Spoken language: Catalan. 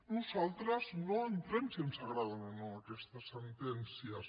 nosaltres no entrem en si ens agraden o no aquestes sentències